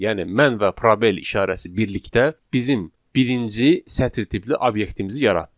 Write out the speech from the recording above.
Yəni mən və probel işarəsi birlikdə bizim birinci sətr tipli obyektimizi yaratdı.